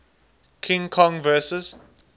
king kong vs